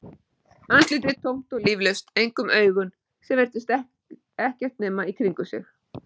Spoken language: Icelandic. Andlitið tómt og líflaust, einkum augun sem virtust ekkert nema í kringum sig.